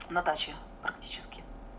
на даче практически